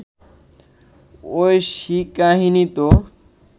ঐশীকাহিনী তো